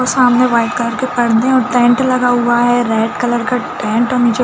और सामने white colour के पर्दे और टेंट लगे हुए हैं रेड कलर का टेंट और नीचे--